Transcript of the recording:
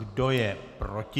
Kdo je proti?